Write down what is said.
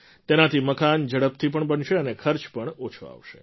તેનાથી મકાન ઝડપથી પણ બનશે અને ખર્ચ પણ ઓછો આવશે